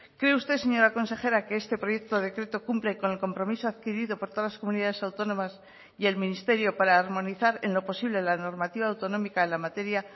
cree usted señora consejera que este proyecto decreto cumple con el compromiso adquirido por todas las comunidades autónomas y el ministerio para armonizar en lo posible la normativa autonómica en la materia